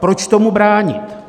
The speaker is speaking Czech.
Proč tomu bránit?